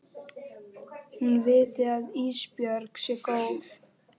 Hún viti að Ísbjörg sé góð.